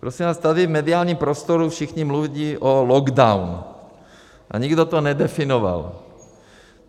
Prosím vás, tady v mediálním prostoru všichni mluví o lockdownu, a nikdo to nedefinoval.